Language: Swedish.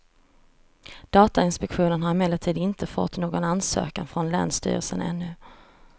Datainspektionen har emellertid inte fått någon ansökan från länsstyrelsen ännu.